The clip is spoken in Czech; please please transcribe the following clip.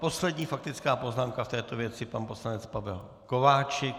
Poslední faktická poznámka v této věci - pan poslanec Pavel Kováčik.